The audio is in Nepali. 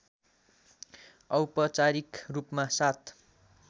औपचारिक रूपमा ७